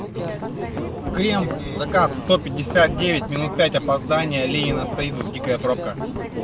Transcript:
крем заказ сто пятьдесят девять минут пять опоздание ленина стоит в дикая пробка